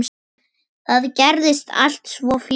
Það gerðist allt svo fljótt.